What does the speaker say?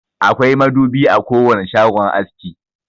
Akwai madubi a kowane shagon aski.